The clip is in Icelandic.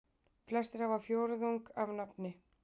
Flestir hafa fjórðung af nafni.